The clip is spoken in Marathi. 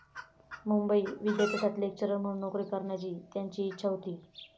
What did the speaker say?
मुंबई विद्यापीठात लेक्चरर म्हणून नोकरी करण्याची त्यांची ईच्छा होती.